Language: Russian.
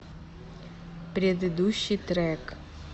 предыдущий трек